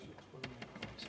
Igaks juhuks palun lisaaega ka.